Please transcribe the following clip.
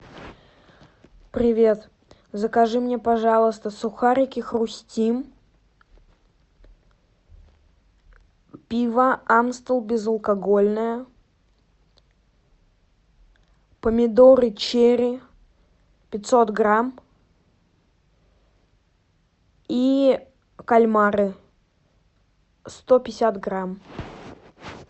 привет закажи мне пожалуйста сухарики хрустим пиво амстел безалкогольное помидоры черри пятьсот грамм и кальмары сто пятьдесят грамм